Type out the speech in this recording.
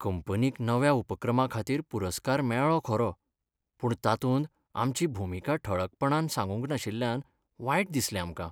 कंपनीक नव्या उपक्रमाखातीर पुरस्कार मेळ्ळो खरो पूण तातूंत आमची भुमिका ठळकपणान सांगूंक नाशिल्ल्यान वायट दिसलें आमकां.